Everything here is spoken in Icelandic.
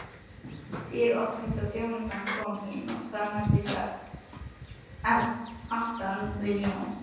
Dyr opnuðust, þjónusta kom inn og staðnæmdist aftan við Jón.